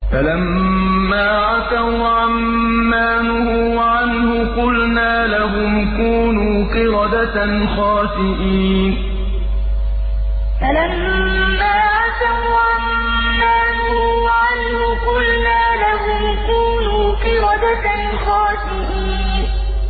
فَلَمَّا عَتَوْا عَن مَّا نُهُوا عَنْهُ قُلْنَا لَهُمْ كُونُوا قِرَدَةً خَاسِئِينَ فَلَمَّا عَتَوْا عَن مَّا نُهُوا عَنْهُ قُلْنَا لَهُمْ كُونُوا قِرَدَةً خَاسِئِينَ